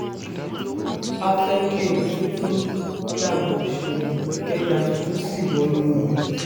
a fẹ́ kí omi tuntun ru lágbo òṣèlú kẹjá tuntun sí wọnú ẹ̀